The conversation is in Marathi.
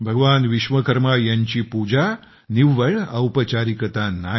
भगवान विश्वकर्मा यांची पूजा निव्वळ औपचारिकता नाही